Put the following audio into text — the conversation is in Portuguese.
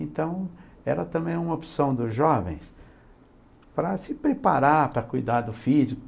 Então, era também uma opção dos jovens para se preparar, para cuidar do físico.